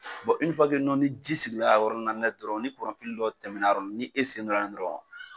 ni ji sigira a yɔrɔ nina dɔrɔn ni kuran dɔ tɛmɛna a yɔrɔni nin e sen donna la dɔrɔn.